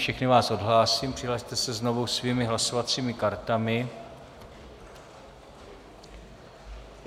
Všechny vás odhlásím, přihlaste se znovu svými hlasovacími kartami.